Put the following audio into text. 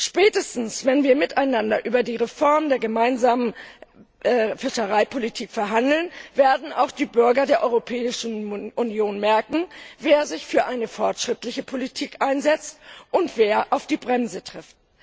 Spätestens wenn wir miteinander über die Reform der Gemeinsamen Fischereipolitik verhandeln, werden auch die Bürger der Europäischen Union merken, wer sich für eine fortschrittliche Politik einsetzt, und wer auf die Bremse tritt.